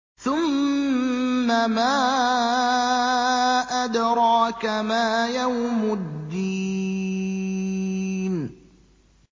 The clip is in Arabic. ثُمَّ مَا أَدْرَاكَ مَا يَوْمُ الدِّينِ